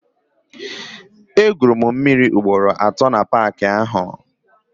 E gwuru m mmịrị ugboro atọ na paaki ahụ.